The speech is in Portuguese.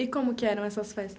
E como que eram essas festas?